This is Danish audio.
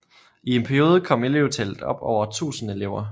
I en periode kom elevtallet op over 1000 elever